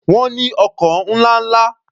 Wọ́n ní ọkọ̀ ńlá ńla.